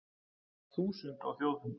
Þúsund á Þjóðfund